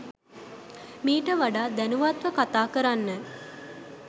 මීට වඩා දැනුවත්ව කතා කරන්න.